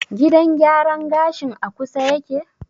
Gidan gyaran gashin a kusa yake?